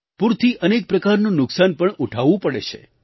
પૂરથી અનેક પ્રકારનું નુકસાન પણ ઉઠાવવું પડે છે